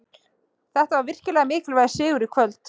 Þetta var virkilega mikilvægur sigur í kvöld.